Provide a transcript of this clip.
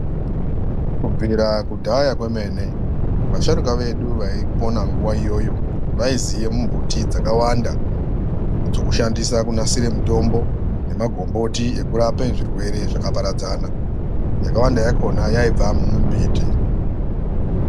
Kubvira kudhaya kwemene vasharuka vedu vaipona nguva iyoyo, vaiziye mumbuti dzakawanda dzokushandisa kunasire mutombo. Nemagomboti ekurape zvirwere zvakaparadzana, yakawanda yakona yaibva mumumbiti.